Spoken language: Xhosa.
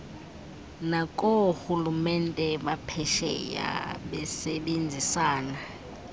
nakoorhulumente baphesheya besebenzisana